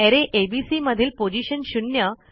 अरे एबीसी मधील पोझीशन 0